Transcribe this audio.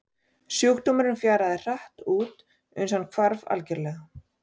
Sjúkdómurinn fjaraði hratt út uns hann hvarf algjörlega.